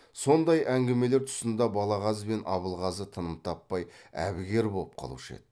сондай әңгімелер тұсында балағаз бен абылғазы тыным таппай әбігер боп қалушы еді